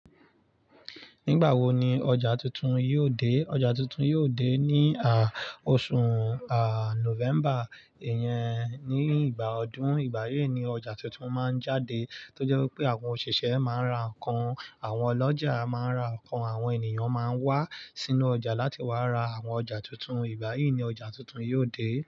Nígbàwo ni ọjà tuntun yóò dé? Ọjà tuntun yóò dé ní à, oṣù à, November. Ìyẹn ní ìgbà ọdún. Ìgbà yí ni ọjà tuntun máa ń jáde tó jẹ́ pé àwọn òṣìṣẹ́ máa ń ra nǹkan, àwọn ọlọ́jà máa ra nǹkan, àwọn ènìyàn máa ń wá sínú ọjà láti wá ra àwọn ọjà tuntun. Ìgbà yí ni ọjà tuntun yóò dé.